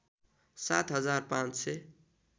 सात हजार पाँच सय